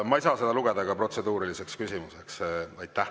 Ma ei saa seda lugeda ka protseduuriliseks küsimuseks.